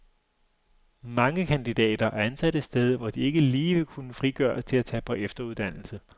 Mange kandidater er ansat et sted, hvor de ikke lige vil kunne frigøres til at tage på efteruddannelse.